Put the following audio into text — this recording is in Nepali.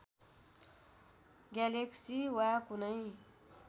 ग्यालेक्सी वा कुनै